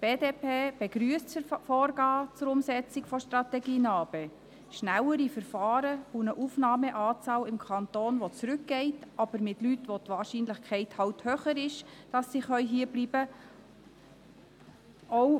Die BDP begrüsst das Vorgehen zur Umsetzung der Strategie NA-BE: schnellere Verfahren und eine Aufnahmeanzahl im Kanton, die zurückgeht, aber mit Leuten, bei denen die Wahrscheinlichkeit eben höher ist, dass sie hierbleiben können.